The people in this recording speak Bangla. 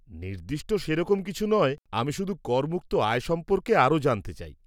নির্দিষ্ট সেরকম কিছু নয়, আমি শুধু করমুক্ত আয় সম্পর্কে আরও জানতে চাই।